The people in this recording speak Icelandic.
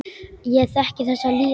Ég þekki þessa líðan.